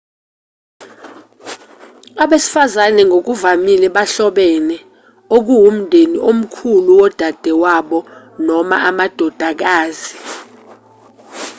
abesifazane ngokuvamile bahlobene okuwumndeni omkhulu wodadewabo noma amadodakazi